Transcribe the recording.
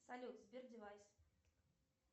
салют сбер девайс